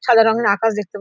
সাদা রঙের আকাশ দেখতে পা--